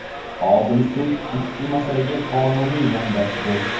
Odil sud ushbu masalaga qonuniy yondashdi.